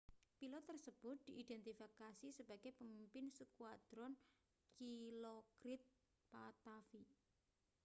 pilot tersebut diidentifikasi sebagai pemimpin skuadron dilokrit pattavee